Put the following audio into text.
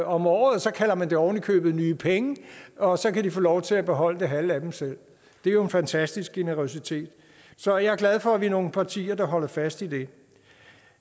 om året så kalder man det oven i købet nye penge og så kan de få lov til at beholde det halve af dem selv det er jo en fantastisk generøsitet så jeg er glad for at vi er nogle partier der holder fast i det